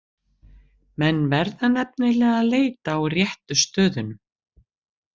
Menn verða nefnilega að leita á réttu stöðunum!